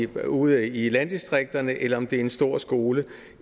ude i landdistrikterne eller om det er en stor skole